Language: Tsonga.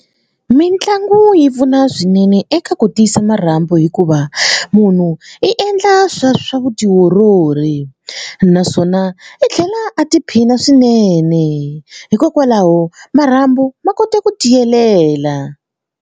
Mitlangu yi pfuna swinene eka ku tiyisa marhambu hikuva munhu i endla swa swa vutiolori naswona i tlhela a tiphina swinene hikokwalaho marhambu ma kota ku tiyelela.